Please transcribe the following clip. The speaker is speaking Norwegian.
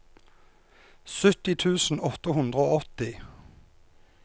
sytti tusen åtte hundre og åtti